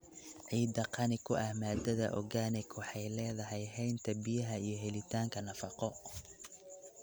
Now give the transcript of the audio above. Ciidda qani ku ah maadada organic waxay leedahay haynta biyaha iyo helitaanka nafaqo.